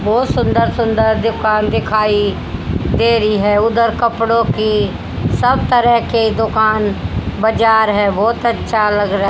बहुत सुंदर सुंदर दुकान दिखाई दे रही है उधर कपड़ों की सब तरह के दुकान बाजार है बहुत अच्छा लग रहा--